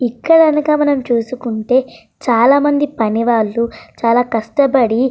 ఇక్కడ కనక మనం చూసుకుంటే చాలామంది పని వాళ్లు చాలా కష్టపడి --